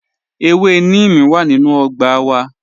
Ẹ̀wẹ̀ nímìí wà nínu ọgbà wà